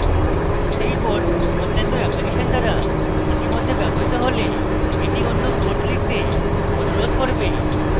সেই ports অন্যান্য application দ্বারা ইতিমধ্যে ব্যবহৃত হলে এটি অন্য ports লিখতে অনুরোধ করবে